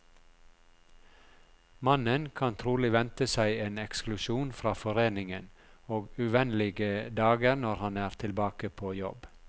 Mannen kan trolig vente seg en eksklusjon fra foreningen, og uvennlige dager når han er tilbake på jobb.